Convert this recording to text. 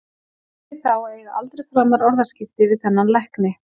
Hét því þá að eiga aldrei framar orðaskipti við þennan lækni.